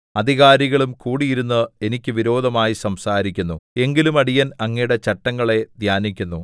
അധികാരികളും കൂടിയിരുന്ന് എനിക്ക് വിരോധമായി സംസാരിക്കുന്നു എങ്കിലും അടിയൻ അങ്ങയുടെ ചട്ടങ്ങളെ ധ്യാനിക്കുന്നു